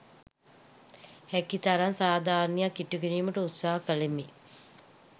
හැකි තරම් සාධාරණයක් ඉටු කිරීමට උත්සාහ කළෙමි.